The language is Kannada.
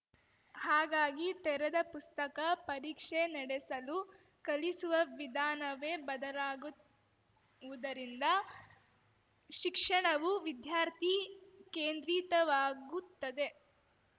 ಹಾಗಾಗಿ ತೆರೆದ ಪುಸ್ತಕ ಪರೀಕ್ಷೆ ನಡೆಸಲು ಕಲಿಸುವ ವಿಧಾನವೇ ಬದಲಾಗುವುದರಿಂದ ಶಿಕ್ಷಣವು ವಿದ್ಯಾರ್ಥಿ ಕೇಂದ್ರಿತವಾಗುತ್ತದೆ